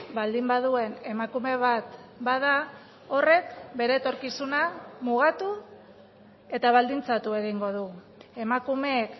baldin baduen emakume bat bada horrek bere etorkizuna mugatu eta baldintzatu egingo du emakumeek